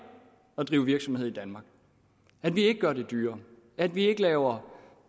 at drive virksomhed i danmark at vi ikke gør det dyrere og at vi ikke laver